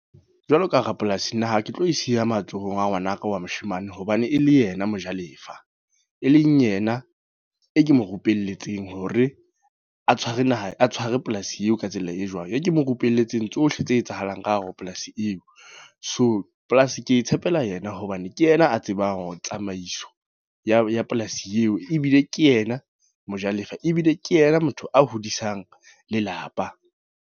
Jwalo ka rapolasi naha ke tlo e siya matsohong a ngwanaka wa moshemane. Hobane e le yena mojalefa. E leng yena, e ke mo rupelletsweng hore a tshware naha a tshware polasi eo ka tsela e jwang. E ke mo rupelletsweng tsohle tse etsahalang ka hare ho polasi eo. So polasi ke e tshepela yena, hobane ke yena a tsebang tsamaiso ya polasi eo. Ebile ke yena mojalefa, ebile ke yena motho a hodisang lelapa.